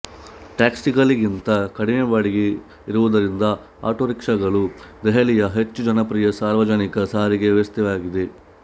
ಟ್ಯಾಕ್ಸಿಗಳಿಗಿಂತ ಕಡಿಮೆ ಬಾಡಿಗೆ ಇರುವುದರಿಂದ ಆಟೋ ರಿಕ್ಷಾಗಳು ದೆಹಲಿಯಲ್ಲಿ ಹೆಚ್ಚು ಜನಪ್ರಿಯ ಸಾರ್ವಜನಿಕ ಸಾರಿಗೆ ವ್ಯವಸ್ಥೆಯಾಗಿದೆ